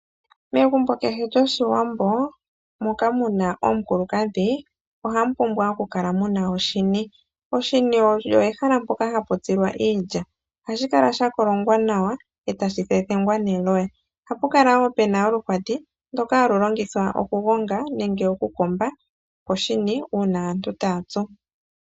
Megumbo keshe lyoshiwambo moka muna omukulukadhi ohamu pumbwa okukala muna oshini. Oshini osho ehala mpoka hapu tsilwa iilya ohashi kala shakolongwa nawa eetashi thethengwa neloya. Ohapu kala woo pena oluhwati ndoka halu longithwa okugonga nenge okukomba uuna aantu taya tsu.